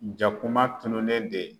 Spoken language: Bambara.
Jakuma tununnen de